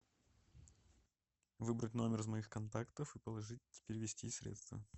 выбрать номер из моих контактов и положить перевести средства